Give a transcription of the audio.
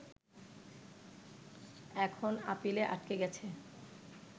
এখন আপিলে আটকে গেছে